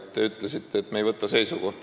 Te ütlesite, et me ei võta seisukohta.